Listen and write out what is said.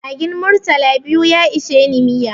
Magin murtala biyu ya isheni miya